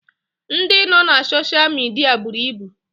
Ndị nọ na sosha midia buru ibu